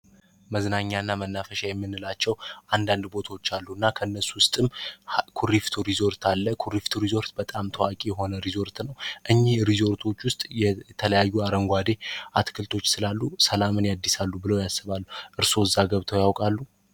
መዝናኛና መናፈሻ የምንላቸው አንዳንድ ቦታዎች አሉ እና ከነሱ ውስጥም ኮሪፍቱ ሪዞርት አለ ኩሪፍቱ ሪዞርት በጣም ታዋቂ የሆነ ሪዞርት ነው እኚህ ሪዞርቶች ውስጥ የተለያዩ አረንጓዴ አትክልቶች ስላሉ መንፈስ የአዲስ አሉ ብሎ ያስባሉ እርሶስ ከዛ ገብተው ያውቃሉ?